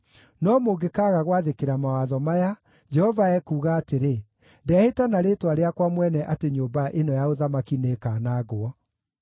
No mũngĩkaaga gwathĩkĩra mawatho maya, Jehova ekuuga atĩrĩ, Ndehĩta na Rĩĩtwa rĩakwa mwene atĩ nyũmba ĩno ya ũthamaki nĩĩkanangwo.’ ”